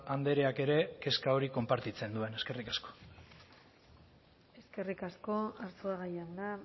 andreak ere kezka hori konpartitzen duen eskerrik asko eskerrik asko arzuaga jauna